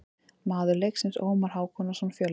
Maður leiksins: Ómar Hákonarson, Fjölnir.